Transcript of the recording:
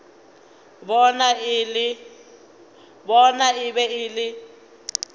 bona e be e le